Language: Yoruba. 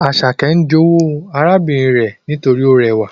Asake n jowu arabinrin re nitori o rewa